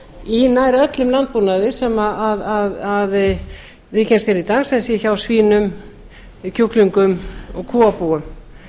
í nær öllum landbúnaði sem tíðkast hér í dag sem sé hjá svínum kjúklingum og kúabúum